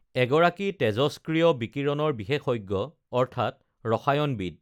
এগৰাকী তেজষ্ক্ৰিয় বিকিৰণৰ বিশেষজ্ঞ অৰ্থাৎ ৰসায়নবিদ